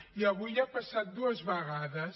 i avui ha passat dues vegades